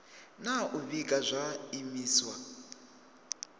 na u vhiga zwa zwiimiswa